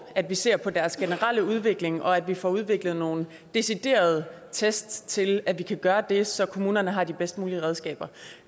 at vi ser på deres generelle udvikling og at vi får udviklet nogle deciderede test til at vi kan gøre det så kommunerne har de bedst mulige redskaber